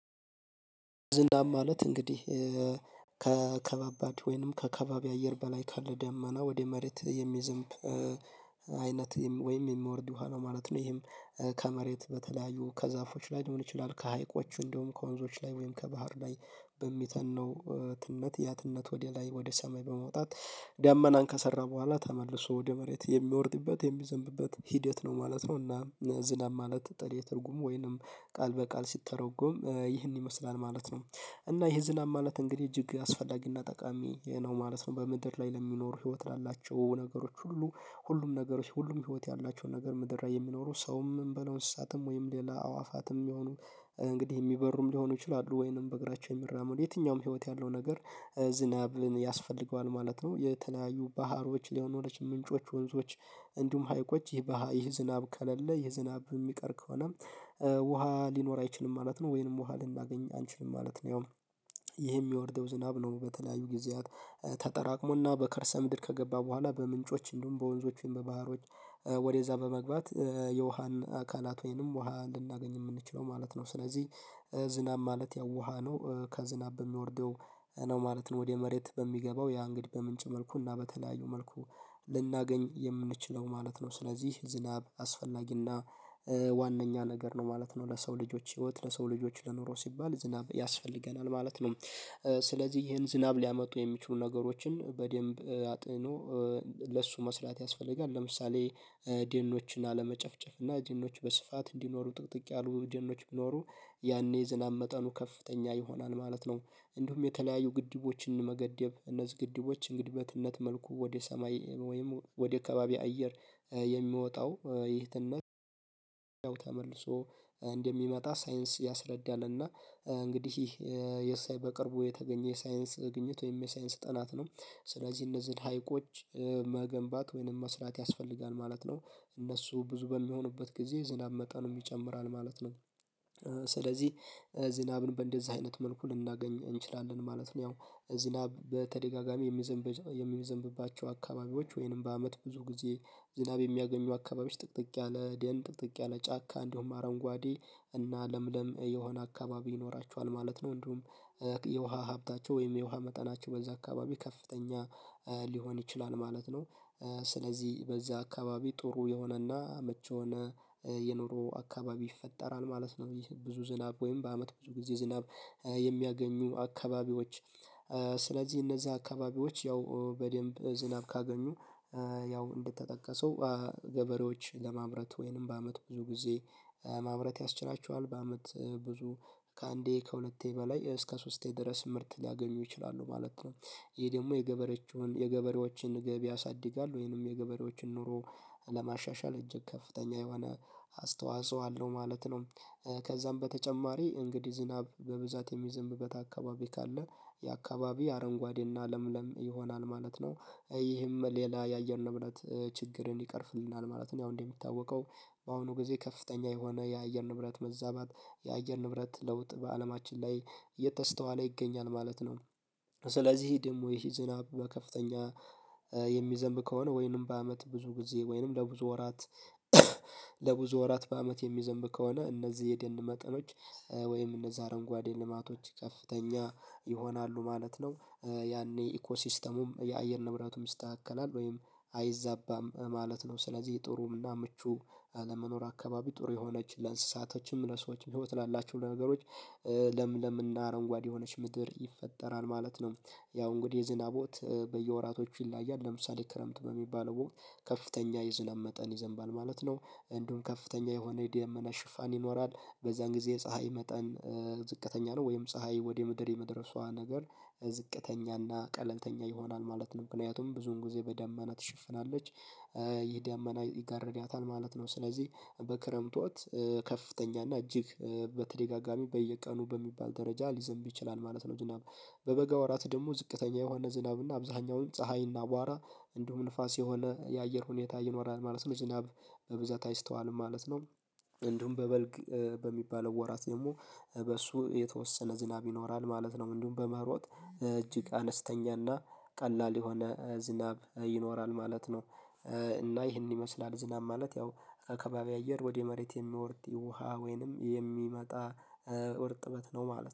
ዝንዳም ማለት እንግዲህ ከከባባድ ወይንም ከከባቢ አየር በላይ ካለ ደመና ወደ መሬት የሚዝንብ አይነት ወይም የሚወርድ ውሃ ነው ማለት ነው። ይሄም ከመሬት በተለያዩ ከዛፎች ላይ ሊሆን ይችላል ከሀይቆቹ እንደውም ከወንዞች ላይ ወይም ከባህር ላይ በሚተነው ትነት ያ ትነት ወደ ላይ ወደ ሰማይ በመውጣት ደመናን ከሰራ በኋላ ተመልሶ ወደ መሬት የሚወርድበት የሚዘንብበት ሂደት ነው ማለት ነው። እና ዝናብ ማለት በተለየ ትርጉም ወይንም ቃል በቃል ሲተረጎም ይህን ይመስላል ማለት ነው እና ይሄ ዝናብ ማለት እንግዲህ እጅግ አስፈላጊና ጠቃሚ ነው ማለት ነው። በምድር ላይ ለሚኖሩ ህይወት ላላቸው ነገሮች ሁሉ ሁሉም ነገሮች ሁሉም ህይወት ያላቸውን ነገር ምድር የሚኖሩ ሰውም እንበለው እንስሳትም ወይም ሌላ አዕዋፋትም ቢሚሆኑ እንግዲህ የሚበሩም ሊሆኑ ይችላሉ ወይንም በእግራቸው የሚራመዱ የትኛውም ህይወት ያለው ነገር ዝናብን ያስፈልገዋል ማለት ነው። የተለያዩ ባህሮች ምንጮች ወንዞች እንዲሁም ሀይቆች ይህ ዝናብ ከለለ ይህ ዝናብ የሚቀር ከሆነ ውሃ ሊኖር አይችልም ማለት ነው ወይንም ውሃ ልናገኝ አንችልም ማለት ነው። ያው ይሄ የሚወርደው ዝናብ ነው በተለያዩ ጊዜያት ተጠራቅሞና በከርሰ ምድር ከገባ በኋላ በምንጮች እንደውም በወንዞችም በባህሮች ወደዛ በመግባት የውሃን አካላት ወይንም ውሃ ልናገኝ የምንችለው ማለት ነው። ስለዚህ ዝናብ ማለት ያው ውሃ ነው ከዝናብ በሚወርደው ነው ማለት ነው ወደ መሬት በሚገባው ያ እንግዲህ በምንጭ መልኩ እና በተለያዩ መልኩ ልናገኝ የምንችለው ማለት ነው። ስለዚህ ዝናብ አስፈላጊና ዋነኛ ነገር ነው ማለት ነው ለሰው ልጆች ህይወት ለሰው ልጆች ለኑሮ ሲባል ዝናብ ያስፈልገናል ማለት ነው። ስለዚህ ይሄን ዝናብ ሊያመጡ የሚችሉ ነገሮችን በደንብ አጥኖ ለሱ መስራት ያስፈልጋል ለምሳሌ ደኖችን አለመጨፍጨፍ እና ደኖች በስፋት እንዲኖሩ ጥቅጥቅ ያሉ ደኖች ቢኖሩ ያኔ ዝናብ መጠኑ ከፍተኛ ይሆናል ማለት ነው። እንዲሁም የተለያዩ ግድቦችን መገደብ እነዚህ ግድቦች እንግዲህ በትነት መልኩ ወደ ሰማይ ወይም ወደ ከባቢ አየር የሚወጣው ይህትን ነው ተመልሶ እንደሚመጣ ሳይንስ ያስረዳናልና እንግዲህ ይሄ በቅርቡ የተገኘ የሳይንስ ግኝት ወይም የሳይንስ ጥናት ነው። ስለዚህ እነዚህን ሀይቆች መገንባት ወይንም መስራት ያስፈልጋል ማለት ነው። እነሱ ብዙ በሚሆንበት ጊዜ ዝናብ መጠን ይጨምራል ማለት ነው ስለዚህ ዝናብን በእንደዚህ አይነት መልኩ ልናገኝ እንችላለን ማለት ነው። ያው ዝናብ በተደጋጋሚ የሚዘንብ የሚዘንብባቸው አካባቢዎች ወይንም በአመት ብዙ ጊዜ ዝናብ የሚያገኙ አካባቢዎች ጥቅጥቅ ያለ ደን ጥቅጥቅ ያለ ጫካ እንዲሁም አረንጓዴ እና ለምለም የሆነ አካባቢ ይኖራቸዋል ማለት ነው። እንዲሁም የውሃ ሀብታቸው ወይም የውሃ መጠናቸው በዛ አካባቢ ከፍተኛ ሊሆን ይችላል ማለት ነው። ስለዚህ በዚህ አካባቢ ጥሩ የሆነና መቼ የሆነ የኑሮ አካባቢ ይፈጠራል ማለት ነው። ይህ ብዙ ዝናብ ወይም በአመት ብዙ ጊዜ ዝናብ የሚያገኙ አካባቢዎች ስለዚህ እነዛ አካባቢዎች ያው በደንብ ዝናብ ካገኙ ያው እንደተጠቀሰው ገበሬዎች ለማምረት ወይንም በአመት ብዙ ጊዜ ማምረት ያስችላቸዋል በአመት ብዙ ከአንዴ ከሁለቴ በላይ እስከ ሶስቴ ድረስ ምርት ሊያገኙ ይችላሉ ማለት ነው። ይሄ ደግሞ የገበሬዎቹን የገበሬዎችን ገቢ ያሳድጋል ወይንም የገበሬዎችን ኑሮ ለማሻሻል እጅግ ከፍተኛ የሆነ አስተዋጽኦ አለው ማለት ነው። ከዛም በተጨማሪ እንግዲህ ዝናብ በብዛት የሚዘንብበት አካባቢ ካለ ያ አካባቢ አረንጓዴና ለምለም ይሆናል ማለት ነው። ይህም ሌላ የአየር ንብረት ችግርን ይቀርፍልናል ማለት ነው ያው እንደሚታወቀው በአሁኑ ጊዜ ከፍተኛ የሆነ የአየር ንብረት መዛባት የአየር ንብረት ለውጥ በአለማችን ላይ እየተስተዋለ ይገኛል ማለት ነው። ስለዚህ ደግሞ ይሄ ዝናብ በከፍተኛ የሚዘንብ ከሆነ ወይንም በአመት ብዙ ጊዜ ወይንም ለብዙ ወራት ለብዙ ወራት በአመት የሚዘምብ ከሆነ እነዚህ የደን መጠኖች ወይም እነዛ አረንጓዴ ልማቶች ከፍተኛ ይሆናሉ ማለት ነው። ያኔ ኢኮ ሲስተሙም የአየር ንብረቱም ይስተካከላል ወይም አይዛባም ማለት ነው። ስለዚህ የጥሩና ምቹ ለመኖር አካባቢ ጥሩ የሆነች ለእንስሳቶችም ለሰዎችም ህይወት ላላችሁ ለነገሮች ለምለምና አረንጓዴ የሆነች ምድር ይፈጠራል ማለት ነው። ያው እንግዲህ የዝናብ ወቅት በየወራቶቹ ይለያያል ለምሳሌ ክረምት በሚባለው ወቅት ከፍተኛ የዝለም መጠን ይዘንባል ማለት ነው። እንዲሁም ከፍተኛ የሆነ የደመና ሽፋን ይኖራል በዛን ጊዜ የፀሀይ መጠን ዝቅተኛ ነው ወይም ፀሀይ ወደ ምድር የመድረሷ ነገር ዝቅተኛና ቀለልተኛ ይሆናል ማለት ነው ምክንያቱም ብዙውን ጊዜ በደመና ትሽፍናለች ይሄ ደመና ይጋርዳታል ማለት ነው። ስለዚህ በክረምት ወቅት ከፍተኛ እና እጅግ በተደጋጋሚ በየቀኑ በሚባል ደረጃ ሊዘምብ ይችላል ማለት ነው። ዝናብ በበጋ ወራት ደግሞ ዝቅተኛ የሆነ ዝናብና አብዛኛውንም ፀሀይና አቧራ እንዲሁም ንፋስ የሆነ የአየር ሁኔታ ይኖራል ማለት ነው። ዝናብ በብዛት አይስተዋልም ማለት ነው። እንዲሁም በበልግ በሚባለው ወራት ደግሞ በእሱ የተወሰነ ዝናብ ይኖራል ማለት ነው። እንዲሁም በመኸር ወቅት እጅግ አነስተኛና ቀላል የሆነ ዝናብ ይኖራል ማለት ነው። እና ይህንን ይመስላል ዝናብ ማለት ያው ከከባቢ አየር ወደ መሬት የሚወርድ ውሃ ወይንም የሚመጣ እርጥበት ነው ማለት ነው